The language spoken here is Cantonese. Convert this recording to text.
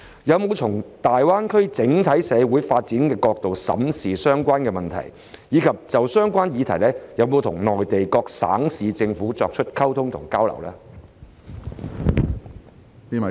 有否從大灣區整體社會發展的角度審視相關問題，以及有否就相關議題，跟內地各省市政府進行溝通和交流呢？